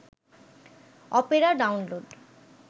Opera download